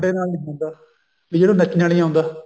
ਮੁੰਡੇ ਨਾਲ ਨੀ ਹੁੰਦਾ ਕੀ ਜਿਹਨੂੰ ਨੱਚਣਾ ਨੀ ਆਉਂਦਾ